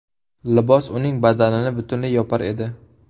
Libos uning badanini butunlay yopar edi.